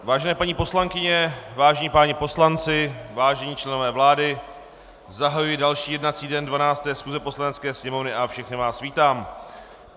Vážené paní poslankyně, vážení páni poslanci, vážení členové vlády, zahajuji další jednací den 12. schůze Poslanecké sněmovny a všechny vás vítám.